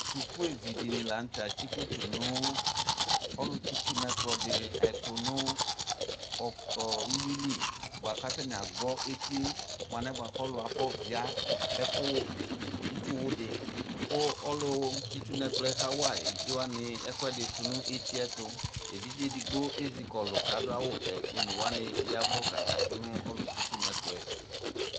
Sukuvi dɩnɩ kanʋtɛ atsɩ koto dʋ ɔlʋtsɩ itsu nʋ ɛkplɔ ɛdɩ nʋ uwili bʊakʋ agbɔ eti mʋ alɛna yɛ alɔdɩ afɔvia itsuwudi kʋ ɔlʋtsɩ itsu nʋ ɛkplɔ yɛ kawa evidze wanɩ ɛsɛdɩ tʋnʋ eti yɛ ayʋ ɛtʋ evidze edigbo ezɩkɔlʋ kʋ adʋ awʋvɛ kʋ one wanɩ yaɛvʋ kʋ akakatʋ nʋ ɔlutsɩ itsu nʋ ɛkplɔ yɛ